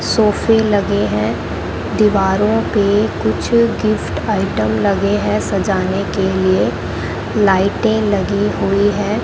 सोफे लगे हैं दीवारों पे कुछ गिफ्ट आइटम लगे हैं सजाने के लिए लाइटें लगी हुई हैं।